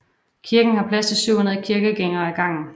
Kirken har plads til 700 kirkegængere ad gangen